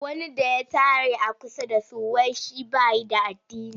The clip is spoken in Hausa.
Wani da ya tare a kusa da su.wai shi ba shi da addini.